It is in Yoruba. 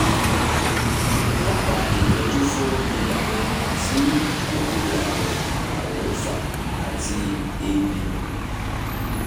dábàá ìtọ́jú fún ibà tí kòkòrò àrùn àrùn ń fà àti èébì